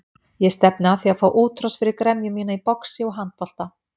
Ég stefni að því að fá útrás fyrir gremju mína í boxi og handbolta.